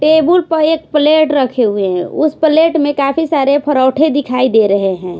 Table पर एक plate रखे हुए हैं उस प्लेट में कैफी सारे परौठे दिखाई दे रहे हैं।